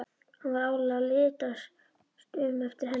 Hann var áreiðanlega að litast um eftir henni.